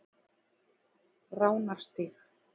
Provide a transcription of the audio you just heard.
Ránarstíg